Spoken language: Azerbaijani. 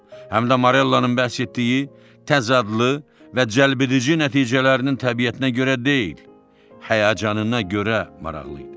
Həm də Marellanın bəhs etdiyi təzə adlı və cəlbedici nəticələrinin təbiətinə görə deyil, həyəcanına görə maraqlı idi.